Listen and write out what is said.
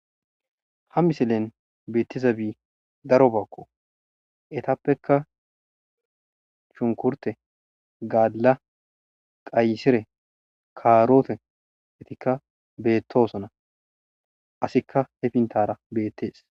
Ha misilen beetizabi darobakko eetappeka shunkurte,gaalla,qayssire,kaarote eetika beetosona asika he fintara beetes.